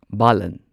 ꯕꯥꯂꯟ